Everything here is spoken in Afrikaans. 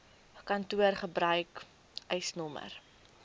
kantoor gebruik eisnr